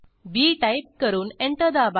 बी type करून enter दाबा